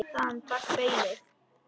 Þaðan barst baulið.